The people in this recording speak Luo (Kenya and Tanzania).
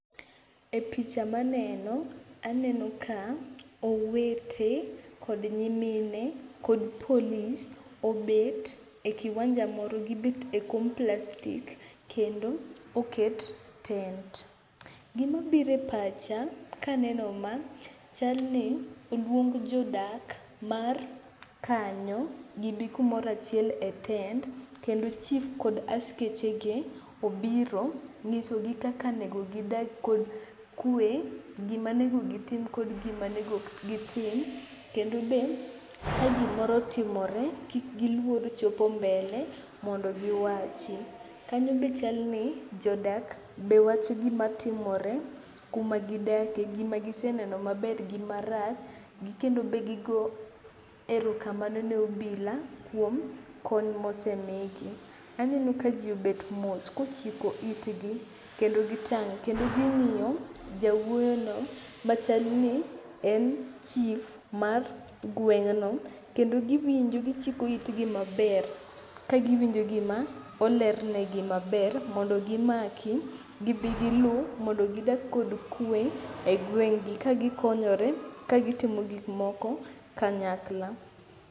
E picha maneno, aneno ka owete kod nyimine kod polis obet e kiwanja moro gibet e kom plastik kendo oket tent. Gimabiro e pacha kaneno ma chalni oluong jodak mar kanyo gibi kumoro achiel e tent kendo chif kod askechege obiro nyisogi kaka nego gidag kod kwe, gimanego gitim kod gimanego kik gitim kendo be kagimoro otimore kik giluor chopo mbele mondo giwachi. Kanyo be chalni jodak be wacho gimatimore kumagidake, gmagiseneno maber gi marach gi kendo be gigo erokamano ne obila kuom kony mosemigi. Aneno ka ji obet mos kochiko itgi kendo gitang' kendo ging'iyo jawuoyono machal ni en chif mar gweng'no kendo giwinjo gichikjo itgi maber kagiwinjo gima olerne gi maber mondo gimaki gibigilu mondo gidag kod kwe e gweng'gi kagikonyore kagitimo gikmoko kanyakla.